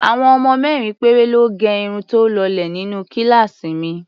Àwọn ọmọ mẹ́rin péré lọ́ gẹ irun tó lọlẹ̀ nínú kíláàsì mi.